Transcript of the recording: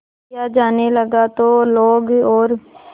किया जाने लगा तो लोग और